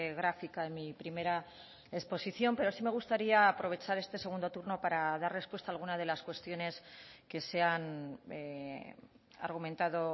gráfica en mi primera exposición pero sí me gustaría aprovechar este segundo turno para dar respuesta a alguna de las cuestiones que se han argumentado